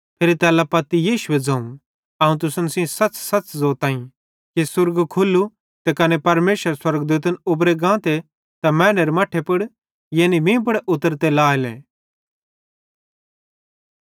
फिरी तैल्ला पत्ती यीशुए ज़ोवं अवं तुसन सेइं सच़सच़ ज़ोताईं कि तुस स्वर्ग खुल्लू त कने परमेशरेरे स्वर्गदूतन उबरे गाते त मैनेरे मट्ठे पुड़ यानी मीं पुड़ उतरते लाएले